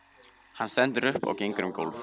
Hann stendur upp og gengur um gólf.